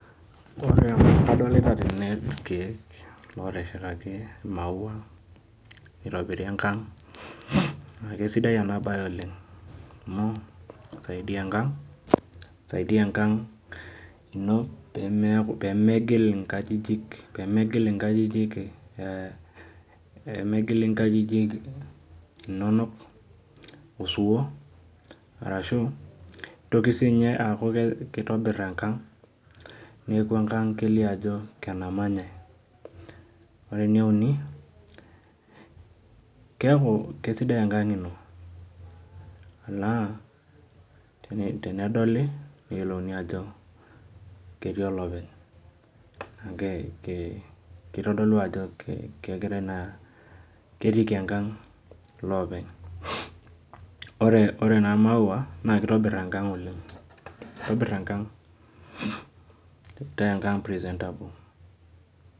Adolita tene irkeek oteshetaki imaua, nitobiri enkang. Na kesidai enabae oleng, amu kisaidia enkang, kisaidia enkang ino pemeku pemegil inkajijik, pemegil inkajijik inonok osiwuo, arashu nitoki sinye aku kitobir enkang, neku enkang kelio ajo enamanyai. Ore eneuni, keku kesidai enkang ino. Naa tenedoli, neyiolouni ajo ketii olopeny. Kitodolu ajo kegirai naa ketiiki enkang iloopeny. Ore naa maua, naa kitobir enkang oleng. Kitobir enkang, kitaa enkang presentable.